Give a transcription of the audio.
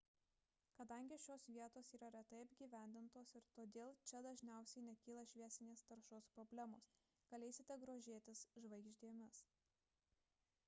kadangi šios vietos yra retai apgyvendintos ir todėl čia dažniausiai nekyla šviesinės taršos problemos galėsite grožėtis žvaigždėmis